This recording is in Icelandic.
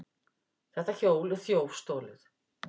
Þetta hjól er þjófstolið!